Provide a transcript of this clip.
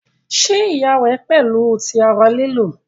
ṣe iya rẹ pẹlu ti ara lilu?